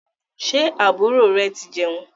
Ṣé àbúrò re ti jẹun?